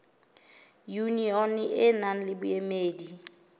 yunione e nang le boemedi